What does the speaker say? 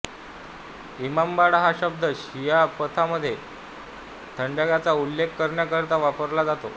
इमामबाडा हा शब्द शिया पंथामधे थडग्याचा उल्लेख करण्याकरिता वापरला जातो